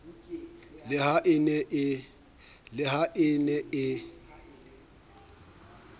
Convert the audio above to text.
le ha e ne e